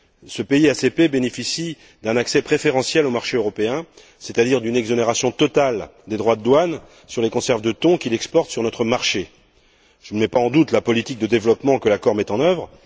Ce pays ACP bénéficie d'un accès préférentiel au marché européen, c'est à dire d'une exonération totale des droits de douane sur les conserves de thon qu'il exporte sur notre marché. Je ne mets pas en doute la politique de développement que l'accord met en œuvre.